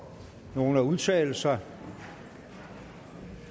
nogen at udtale sig